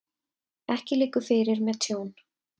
Ekki liggur fyrir með tjón